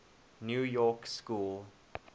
new york school